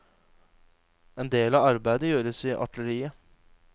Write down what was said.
En del av arbeidet gjøres i atelieret.